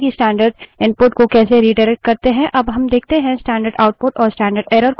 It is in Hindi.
अब देखते हैं कि standard output और standard error को कैसे redirect करें